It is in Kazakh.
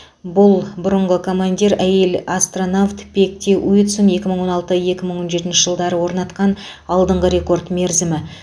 бұл бұрынғы командир әйел астронавт пегги уитсон екі мың он алты екі мың он жетінші жылдары орнатқан алдыңғы рекорд мерзімі